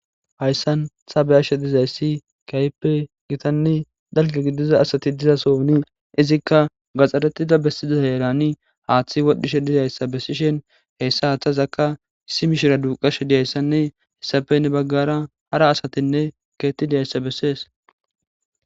Hayssan habeyashe dizayssi kaype gitanni dalge gidiza asati dizasooni izikka gaxxaretida bessiziza herani haaththi wadhdhishe dizayssa bessishen heyssa haathazakka issi mishira duuqashe diyayssanne hissafenne baggara hara asatinne keettidiyayssa bessees